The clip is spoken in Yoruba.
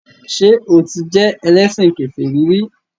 Ṣé o ti jẹ́ ẹlẹ́sìn kèfèrí rí?